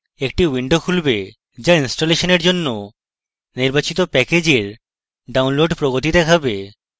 একটি window খুলবে যা ইনস্টলেশনের জন্য নির্বাচিত প্যাকেজের download প্রগতি দেখাবে